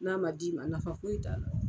N'a ma d'i ma , nafa foyi t'a la.